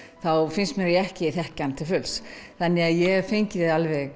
finnst mér ég ekki þekkja hann til fulls þannig að ég hef fengið